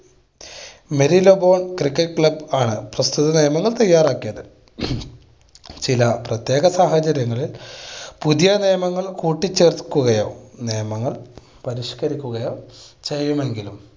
cricket club ആണ് പ്രസ്തുത നിയമങ്ങൾ തയ്യാറാക്കിയത്. ചില പ്രത്യേക സാഹചര്യങ്ങളിൽ പുതിയ നിയമങ്ങൾ കൂട്ടി ചേർക്കുകയോ നിയമങ്ങൾ പരിഷ്കരിക്കുയോ ചെയ്യുമെങ്കിലും